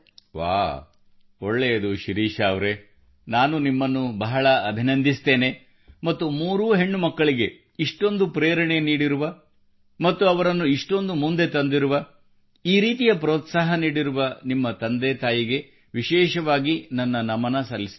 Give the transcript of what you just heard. ವಾಹ್ ಒಳ್ಳೆಯದು ಶಿರೀಷಾ ಅವರೆ ನಾನು ನಿಮ್ಮನ್ನು ಬಹಳ ಅಭಿನಂದಿಸುತ್ತೇನೆ ಮತ್ತು ಮೂರೂ ಹೆಣ್ಣು ಮಕ್ಕಳಿಗೆ ಇಷ್ಟೊಂದು ಪ್ರೇರಣೆ ನೀಡಿರುವ ಮತ್ತು ಅವರನ್ನು ಇಷ್ಟೊಂದು ಮುಂದೆ ತಂದಿರುವ ಈ ರೀತಿಯ ಪ್ರೋತ್ಸಾಹ ನೀಡಿರುವ ನಿಮ್ಮತಂದೆ ತಾಯಿಗೆ ವಿಶೇಷವಾಗಿ ನನ್ನ ನಮನ ಸಲ್ಲಿಸುತ್ತೇನೆ